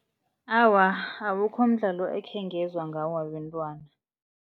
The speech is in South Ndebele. Awa, awukho umdlalo ekhengezwa ngawo wabentwana.